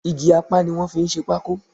Igi apá ni wọ́n fi ń ṣe pákó